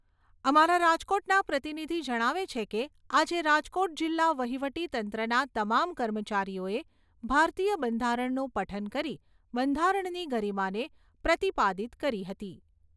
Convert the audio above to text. અમારા રાજકોટના પ્રતિનિધિ જણાવે છે કે, આજે રાજકોટ જિલ્લા વહીવટીતંત્રના તમામ કર્મચારીઓએ ભારતીય બંધારણનું પઠન કરી બંધારણની ગરિમાને પ્રતિપાદિત કરી હતી.